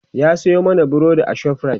ya Sayo mana burodi a shoprite